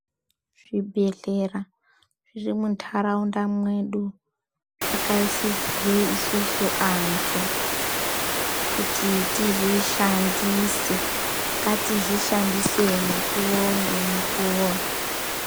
Zvibhedhlera zviri muntaraunda mwedu zvakaisirwr isusu antu kuti tizvishandise , ngatizvoshandise mukuwo ngemukuwo.